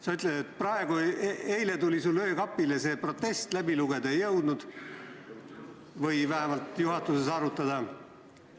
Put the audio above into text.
Sa ütled, et eile tuli see protest sulle öökapile, läbi lugeda sa seda ei jõudnud või vähemalt juhatuses arutada ei jõudnud.